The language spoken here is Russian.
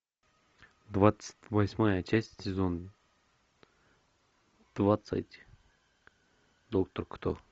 двадцать восьмая часть сезон двадцать доктор кто